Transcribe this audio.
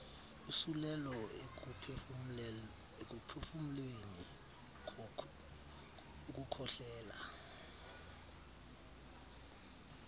usulelo ekuphefumleni ukukhohlela